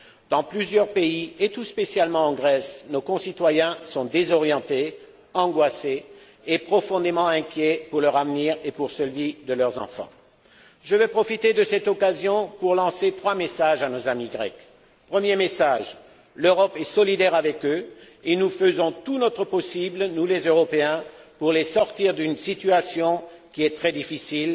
Dans plusieurs pays, et tout spécialement en Grèce, nos concitoyens sont désorientés, angoissés et profondément inquiets pour leur avenir et pour celui de leurs enfants. Je veux profiter de cette occasion pour lancer trois messages à nos amis grecs. Premier message l'Europe est solidaire avec eux et nous faisons tout notre possible, nous les Européens, pour les sortir d'une situation qui est très difficile,